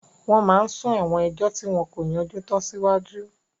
Wọ́n máa n sún àwọn ẹjọ́ tí wọn kò yanjú tán síwájú